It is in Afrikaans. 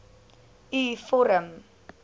u vorm